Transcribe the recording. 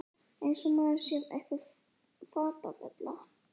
Eins og maður sé einhver fatafella!